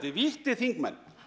vítti þingmenn